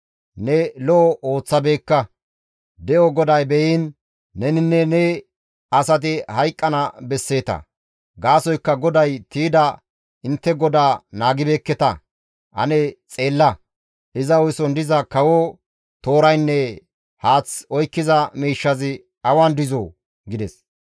Ne lo7o ooththabeekka; de7o GODAY be7iin! Neninne ne asati hayqqana besseeta; gaasoykka GODAY tiyda intte godaa naagibeekketa; ane xeella; iza hu7eson diza kawo tooraynne haath oykkiza miishshazi awan dizoo?» gides.